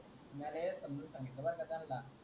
तेच समजूं सांगितलं बरं का त्यानंला